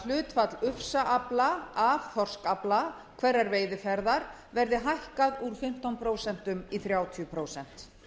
hlutfall ufsaafla af þorskafla hverrar veiðiferðar verði hækkað úr fimmtán prósent í þrjátíu prósent